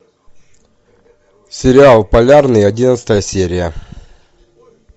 сериал полярный одиннадцатая серия